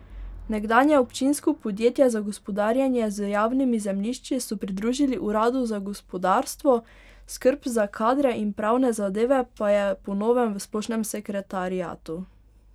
Nekdanje občinsko podjetje za gospodarjenje z javnimi zemljišči so pridružili uradu za gospodarstvo, skrb za kadre in pravne zadeve pa je po novem v splošnem sekretariatu.